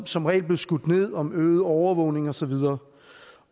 som regel blev skudt ned om øget overvågning og så videre